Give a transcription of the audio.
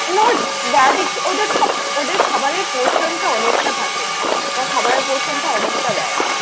ওদের খাবারের portion টা অনেকটা থাকে। ওরা খাবারের portion টা অনেকটা দেয়।